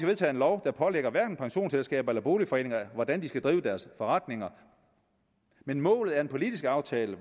vedtage en lov der pålægger pensionsselskaber eller boligforeninger hvordan de skal drive deres forretninger men målet er en politisk aftale